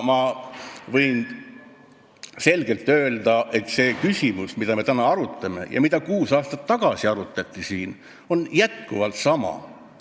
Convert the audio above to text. Ma võin selgelt öelda, et see küsimus, mida me täna arutame ja mida kuus aastat tagasi siin arutati, on jätkuvalt sama.